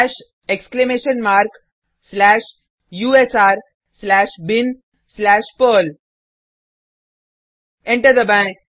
हाश exclamation mark slash U S R slash bin slash perl enter दबाएँ